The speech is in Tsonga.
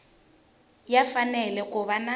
ya fanele ku va na